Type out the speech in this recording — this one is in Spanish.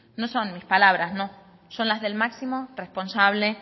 no son mis palabras no son las del máximo responsable